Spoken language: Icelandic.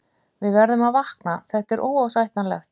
Við verðum að vakna, þetta er óásættanlegt.